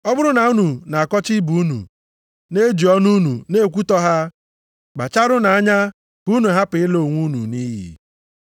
Ọ bụrụ na unu na-akọcha ibe unu, na-eji ọnụ unu na-ekwutọ ha, kpacharanụ anya ka unu hapụ ịla onwe unu nʼiyi.